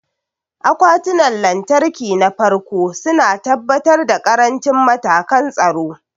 Akwatunan lantarki na farko su na tabbatar da ƙarancin matakan tsaro.